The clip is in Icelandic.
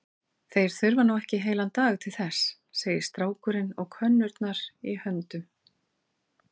Þeir þurfa nú ekki heilan dag til þess, segir strákurinn og könnurnar í höndum